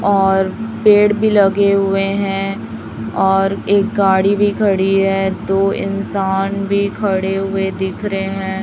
और पेड़ भी लगे हुए हैं और एक गाड़ी भी खड़ी है दो इंसान भी खड़े हुए दिख रहे हैं।